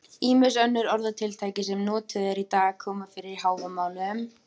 Ýmis önnur orðatiltæki sem notuð eru í dag koma fyrir í Hávamálum.